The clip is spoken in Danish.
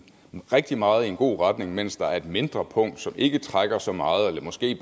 rigtig meget i en god retning mens der er et mindre punkt som ikke trækker så meget eller måske